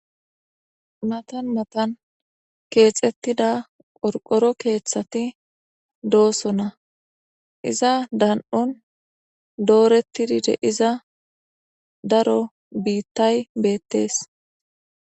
Matan matan keexettida qorqoro keeththati dooso na iza dan7on dooreti dide iza daro biittay beettees.